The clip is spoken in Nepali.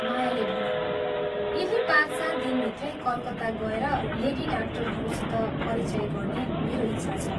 मायाले भनी, "यही पाँच सात दिनभित्रै कलकत्ता गएर लेडी डाक्टरहरूसित परिचय गर्ने मेरो इच्छा छ।